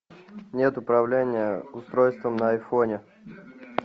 нет управления устройством на айфоне